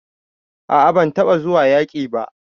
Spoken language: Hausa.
A'a ban taba zuwa yaki ba.